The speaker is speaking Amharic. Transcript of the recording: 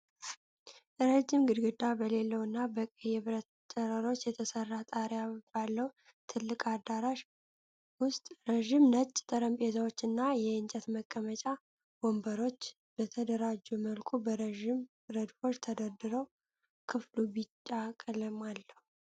ረጅም ግድግዳ በሌለው እና በቀይ የብረት ጨረሮች በተሰራ ጣሪያ ባለው ትልቅ አዳራሽ ውስጥ ረጅም ነጭ ጠረጴዛዎች እና የእንጨት መቀመጫ ወንበሮች በተደራጀ መልኩ በረጅም ረድፎች ተደርድረዋል። ክፍሉ ቢጫ ቀለም አለው።